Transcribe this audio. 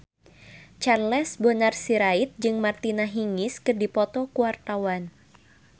Charles Bonar Sirait jeung Martina Hingis keur dipoto ku wartawan